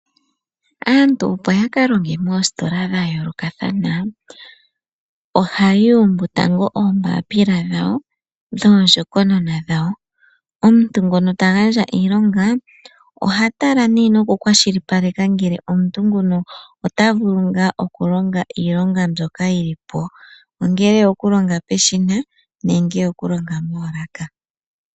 Aantu opo ya kalonge moositola dha yoolokathana ,ohaya umbu tango oombapila dhawo dhoondjokonona dhawo. Omuntu ngono tagandja iilonga oha tala noku kwashilipaleka kutya omuntu nguno otavulu ngaa okulonga iilonga mbyoka yilipo ongele oyoku longa peshina nenge oyoku longa moolaka.